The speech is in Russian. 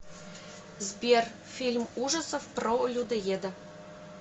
сбер фильм ужасов про людоеда